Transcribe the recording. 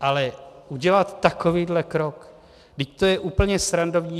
Ale udělat takovýhle krok, vždyť to je úplně srandovní.